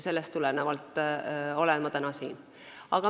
Sellest tulenevalt olen ma täna siin.